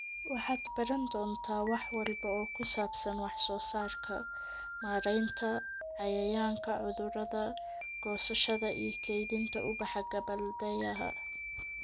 Waxaad baran doontaa wax walba oo ku saabsan wax soo saarka, maaraynta cayayaanka/cudurada, goosashada iyo kaydinta ubaxa gabbaldayaha."